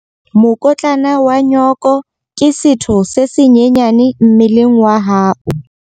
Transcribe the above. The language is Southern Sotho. Mokotlana wa nyooko ke setho se senyenyane mmeleng wa hao.